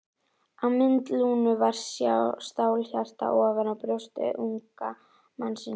Á mynd Lúnu var stálhjarta ofan á brjósti unga mannsins.